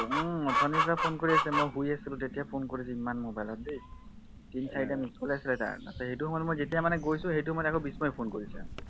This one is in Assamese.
উম অথনিৰ পৰা phone কৰি আছে মই শুই আছিলো তেতিয়া phone কৰিছে ইমান mobile দেই তিনি চাৰিটা missed call এ আছিলে তাৰ সেইটো সময়ত যেতিয়ামানে গৈছো সেইটো সময়ত আকৌ বিস্ময়ে phone কৰিছে